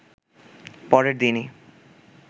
পরের দিনই